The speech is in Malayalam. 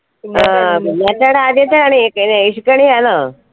ആ കുഞ്ഞാട്ടേടെ ആദ്യത്തെ കണി വിഷുക്കണിയാണോ